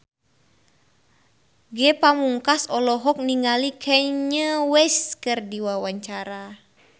Ge Pamungkas olohok ningali Kanye West keur diwawancara